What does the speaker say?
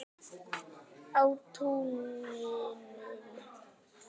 Á túninu.